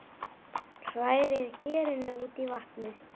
Hrærið gerinu út í vatnið.